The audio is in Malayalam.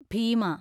ഭീമ